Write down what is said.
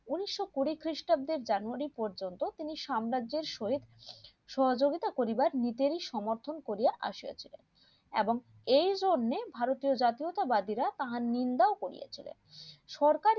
উনিশশো কুড়ি খ্রিস্টাব্দের জানুয়ারী পর্যন্ত তিনি সাম্রাজ্যের সহিত সহযোগিতা করিবার নিতেই সমর্থন করিয়া আসিয়াছিলেন এবং এইজন্য ভারতীয় জাতীয়তা যাত্রীরা তাহার নিন্দাও করেছিলেন সরকার